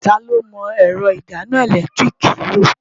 Ta ló mọ ẹ̀rọ ìdáná ẹ̀lẹ́tíríìkì lò?